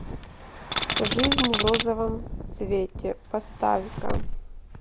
жизнь в розовом цвете поставь ка